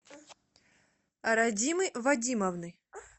радимы вадимовны